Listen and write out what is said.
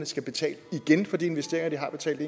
skal betale for de investeringer de har betalt